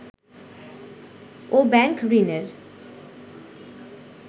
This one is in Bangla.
ও ব্যাংক ঋণের